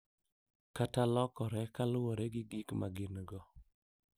Kata lokore kaluwore gi gik ma gin-go,